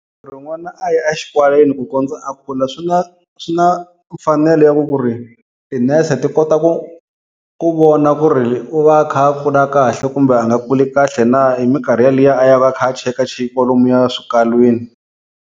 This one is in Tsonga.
Ku ri n'wana a ya exikalwini ku kondza a kula swi na swi na mfanelo ya ku ku ri tinese ti kota ku ku vona ku ri u va a kha a kula kahle kumbe a nga kuli kahle na hi minkarhi yaliya a yaka a kha a chekachekiwa lomuya swikalwini.